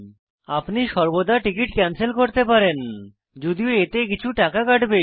আপনি সর্বদা ticket cancel করতে পারেন যদিও এতে কিছু টাকা কাটবে